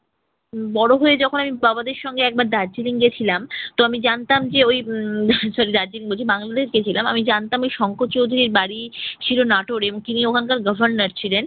বড় হয়ে যখন আমি বাবাদের সঙ্গে একবার দার্জিলিং গেছিলাম। তো আমি জানতাম যে ওই উম sorry দার্জিলিং বলছি, বাংলাদেশ গেছিলাম। আমি জানতাম ঐ শঙ্কর চৌধুরীর বাড়ি ছিল নাটোরে এবং তিনি ওখানকার গভর্নর ছিলেন।